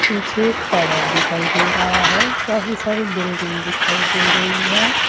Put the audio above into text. पीछे एक टावर दिखाई दे रहा है काफी सारी बिल्डिंग दिखाई दे रही है।